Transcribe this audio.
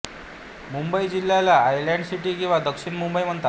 मुंबई जिल्ह्याला island city किंवा दक्षिण मुंबई म्हणतात